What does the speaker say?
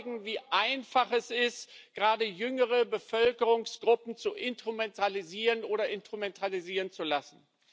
Sie zeigen, wie einfach es ist, gerade jüngere Bevölkerungsgruppen zu instrumentalisieren oder instrumentalisieren zu lassen.